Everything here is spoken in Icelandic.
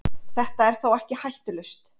Þetta er þó ekki hættulaust.